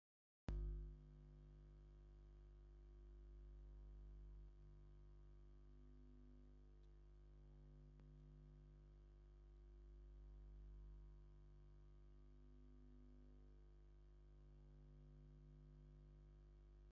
ኣዛ ትርኣ ዘላ ናይ ግፅ ዘልምፁ ና ዘቅይሑ ሾምንተ መፍትሒ ተፋልጥ ኣላ ። ካብቶም መፍትሕታት ሓደ ኦይል ዝብል ቅብኣት ፣ ኣትክልትን እዮም ።